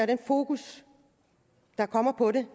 den fokus der kommer på det